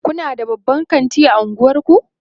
Kuna da babban kanti a unguwanku?